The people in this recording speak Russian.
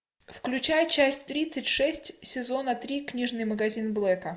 включай часть тридцать шесть сезона три книжный магазин блэка